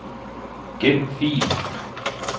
Gem fil.